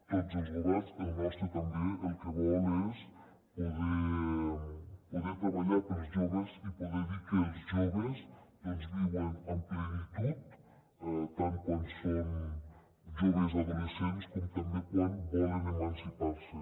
tots els governs el nostre també el que volen és poder treballar per als joves i poder dir que els joves doncs viuen amb plenitud tant quan són joves adolescents com també quan volen emancipar se